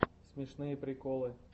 смешные приколы